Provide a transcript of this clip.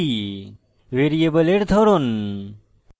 ভ্যারিয়েবলের ধরন